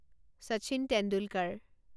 Sachin Tendulkar